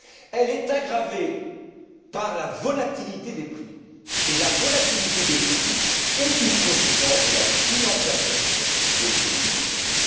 Elle est aggravée par la volatilité des prix et la volatilité des prix est une conséquence de la financiarisation de l'économie mondiale.